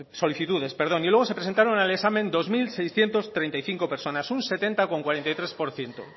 solicitudes y luego se presentaron al examen dos mil seiscientos treinta y cinco personas un setenta coma cuarenta y tres por ciento